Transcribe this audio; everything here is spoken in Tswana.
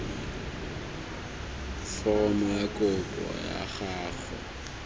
foromo ya kopo ya gago